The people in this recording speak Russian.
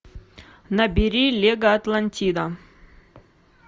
набери лего атлантида